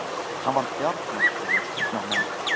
Hann var djarfmæltur við tigna menn.